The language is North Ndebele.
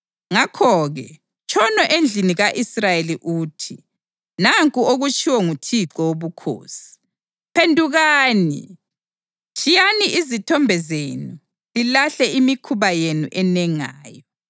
Ngakho-ke tshono endlini ka-Israyeli uthi: ‘Nanku okutshiwo nguThixo Wobukhosi: Phendukani! Tshiyani izithombe zenu lilahle imikhuba yenu enengayo!